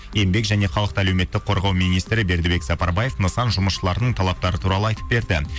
еңбек және халықты әлеуметтік қорғау министрі бердікбек сапарбаев нысан жұмысшыларының талаптары туралы айтып берді